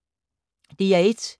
DR1